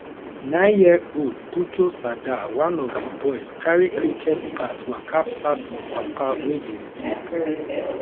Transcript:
nineyearold puchu sardar one of di boys carry cricket bat waka pass im papa wey dey sleep